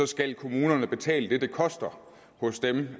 skal kommunerne betale det det koster hos dem